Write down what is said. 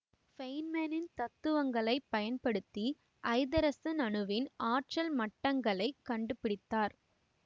ஃபேயின்மேனின் தத்துவங்களைப் பயன்படுத்தி ஐதரசன் அணுவின் ஆற்றல் மட்டங்களைக் கண்டுபிடித்தார்